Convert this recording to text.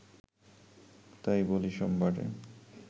তাই বলি সোমবারে